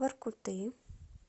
воркуты